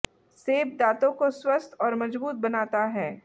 सेब दातों को स्वस्थ और मजबूत बनाता है